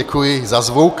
Děkuji za zvuk.